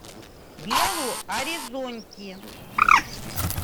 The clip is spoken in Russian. белу оризонти